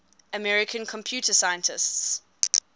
american computer scientists